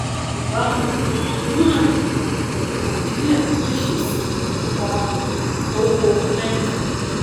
ìbámu um yuan pẹlú nàìjíríà lè ṣẹsìn ipa um owó amẹríkà